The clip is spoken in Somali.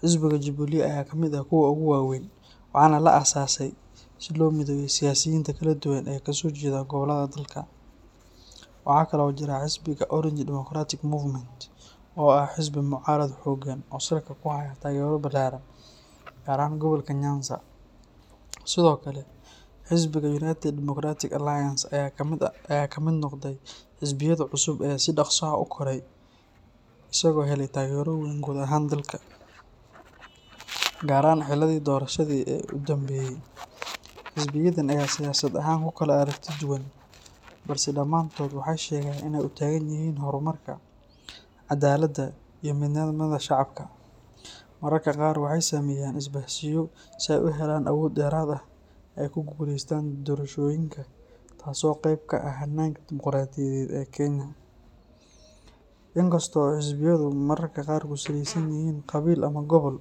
Xisbiga Jubilee ayaa ka mid ah kuwa ugu waaweyn, waxaana la aasaasay si loo mideeyo siyaasiyiinta kala duwan ee ka soo jeeda gobollada dalka. Waxaa kale oo jira Xisbiga Orange Democratic Movement, oo ah xisbi mucaarad xooggan ah oo salka ku haya taageero ballaaran, gaar ahaan gobolka Nyanza. Sidoo kale, xisbiga United Democratic Alliance ayaa ka mid noqday xisbiyada cusub ee si dhakhso ah u koray, isagoo helay taageero weyn guud ahaan dalka, gaar ahaan xilliyadii doorashada ee u dambeeyay. Xisbiyadan ayaa siyaasad ahaan ku kala aragti duwan, balse dhammaantood waxay sheegaan inay u taagan yihiin horumarka, cadaaladda, iyo midnimada shacabka. Mararka qaar waxay sameeyaan isbahaysiyo si ay u helaan awood dheeraad ah oo ay ku guuleystaan doorashooyinka, taas oo qayb ka ah hannaanka dimoqraadiyadeed ee Kenya. Inkasta oo xisbiyadu mararka qaar ku saleysan yihiin qabiil ama gobol,